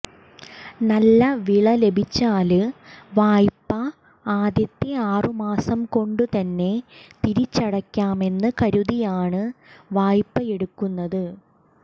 നല്ല വിള ലഭിച്ചാല് വായ്പ ആദ്യത്തെ ആറുമാസംകൊണ്ടുതന്നെ തിരിച്ചടയ്ക്കാമെന്ന് കരുതിയാണ് വായ്പയെടുക്കുന്നത്